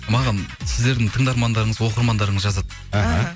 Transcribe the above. маған сіздердің тыңдармандарыңыз оқырмандарыңыз жазады іхі